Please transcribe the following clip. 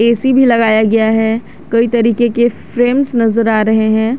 AC भी लगाया गया है कई तरीके के फ्रेम्स नजर आ रहे हैं।